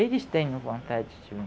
Eles tenham vontade de